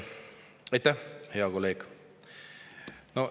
Aitäh, hea kolleeg!